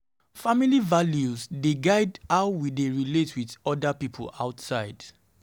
Family Family values dey guide how we dey relate with oda pipo outside.